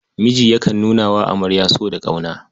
Miji yakan nuna wa amarya so da ƙauna.